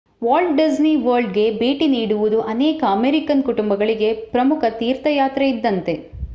Walt Disney ವರ್ಲ್ಡ್‌ಗೆ ಭೇಟಿ ನೀಡುವುದು ಅನೇಕ ಅಮೇರಿಕನ್ ಕುಟುಂಬಗಳಿಗೆ ಪ್ರಮುಖ ತೀರ್ಥಯಾತ್ರೆ ಇದ್ದಂತೆ